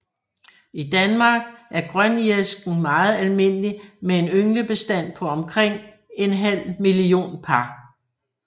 I Danmark er grønirisken meget almindelig med en ynglebestand på omkring en halv million par